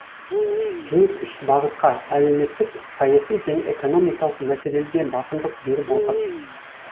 кеңес үш бағытқа әлеуметтік саяси және экономикалық мәселелерге басымдық беріп отыр